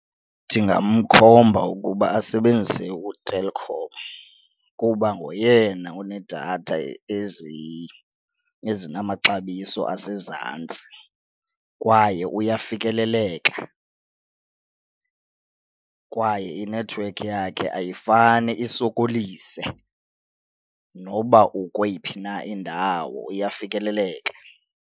Ndingamkhomba ukuba asebenzise uTelkom kuba ngoyena unedatha ezinamaxabiso asezantsi kwaye uyafikeleleka kwaye inethiwekhi yakhe ayifane isokolise noba ukweyiphi na indawo iyafikeleleka.